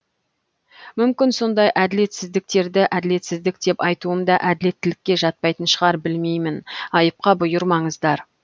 мүмкін сондай әділетсіздіктерді әділетсіздік деп айтуым да әділеттілікке жатпайтын шығар білмеймін айыпқа бұйырмаңыздар